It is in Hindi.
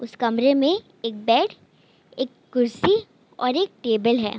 उस कमरे में एक बेड एक कुर्सी और एक टेबल है।